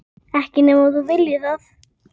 Ekki nema þú viljir það.